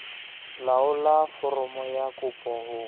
laolla foromo ya kopo ho